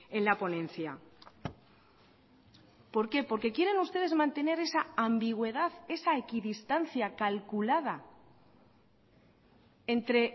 en la ponencia por qué porque quieren ustedes mantener esa ambigüedad esa equidistancia calculada entre